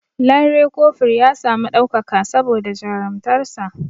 Lanre kofur ya sami ɗaukaka saboda jarumtakar sa